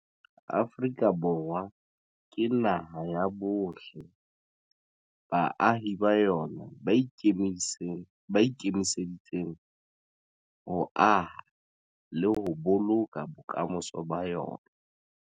Afrika Borwa ke naha ya bohle. Baahi ba yona ba ikemiseditseng ho aha le ho boloka bokamoso ba yona.